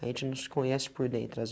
A gente não se conhece por dentro